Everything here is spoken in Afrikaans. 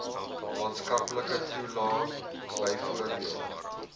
maatskaplike toelae byvoorbeeld